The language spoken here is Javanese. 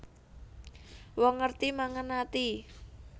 Wong ngerti mangan ati